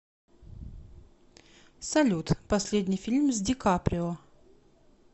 салют последний фильм с ди каприо